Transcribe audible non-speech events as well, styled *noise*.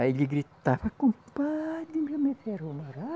Aí ele gritava, compadre *unintelligible*